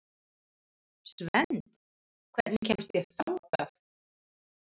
Svend, hvernig kemst ég þangað?